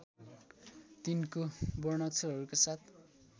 तिनको वर्णाक्षरहरूका साथ